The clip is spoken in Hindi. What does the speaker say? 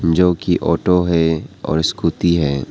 जोकि ऑटो है और स्कूटी है।